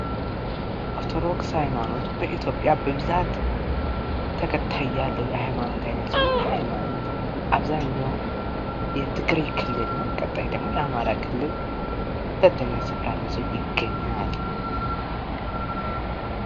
ኦርቶዶክስ ሀይማኖት በኢትዮጵያ በብዛት ተከታይ ያለው የሀይማኖት አይነት ሲሆን ይህ ሀይማኖት አብዛኛው የትግራይ ክልል ነው፣ ቀጣይ ደግሞ የአማራ ክልል ሁለተኛ ስፍራን ይዞ ይገኛል።